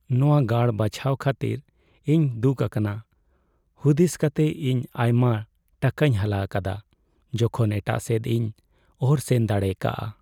ᱱᱚᱶᱟ ᱜᱟᱲ ᱵᱟᱪᱷᱟᱣ ᱠᱷᱟᱹᱛᱤᱨ ᱤᱧ ᱫᱩᱠ ᱟᱠᱟᱱᱟ, ᱦᱩᱫᱤᱥ ᱠᱟᱛᱮ ᱤᱧ ᱟᱭᱢᱟ ᱴᱟᱠᱟᱧ ᱦᱟᱞᱟ ᱟᱠᱟᱫᱟ ᱡᱚᱠᱷᱚᱱ ᱮᱴᱟᱜ ᱥᱮᱫ ᱤᱧ ᱚᱨ ᱥᱮᱱ ᱫᱟᱲᱮ ᱠᱚᱜᱼᱟ ᱾